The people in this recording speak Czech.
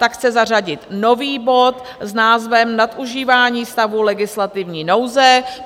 Ta chce zařadit nový bod s názvem Nadužívání stavu legislativní nouze.